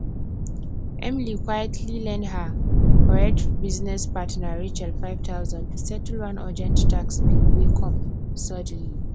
emily quietly lend her correct business partner rachel five thousand to settle one urgent tax bill wey come suddenly